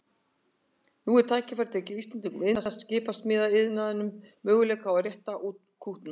Nú er tækifæri til að gefa íslenskum iðnaði, skipasmíðaiðnaðinum, möguleika á að rétta úr kútnum.